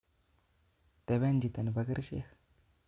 Teben chito nebo kerichek